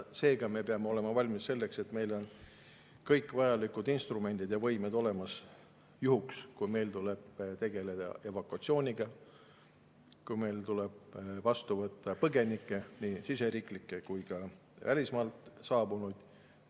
Seega peavad meil olema olemas kõik vajalikud instrumendid ja võimed juhuks, kui meil tuleb tegeleda evakuatsiooniga, kui meil tuleb vastu võtta põgenikke, nii siseriiklikke kui ka välismaalt saabunuid.